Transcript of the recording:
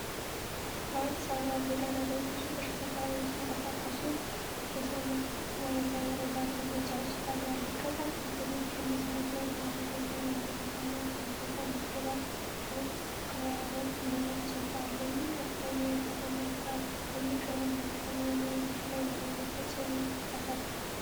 በአዲስ አበባ ጎዳና ላይ ብዙ ተሽከርካሪዎች ሲንቀሳቀሱ በሰማይ ላይ ረጃጅም ሕንጻዎች ይታያሉ። ከታች በቴሌቪዥን መስመር ላይ በአማርኛ "የመሬትና ዪዞታ ምዝገባ መቅዋረጥ" የሚል ጽሑፍ አለ። ይህ ከፍተኛ የከተማ ትራፊክ በየቀኑ በከተማው ነዋሪዎች ላይ ምን ተጽዕኖ ያሳድራል?